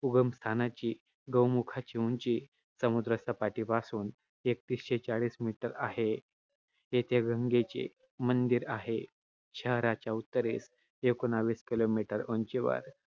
उगमस्थानाची-गौमुखाची उंची समुद्रसपाटीपासून एकतीसशे चाळीस meter आहे. येथे गंगेचे मंदिर आहे. शहराच्या उत्तरेस एकोणीस kilometer उंचीवर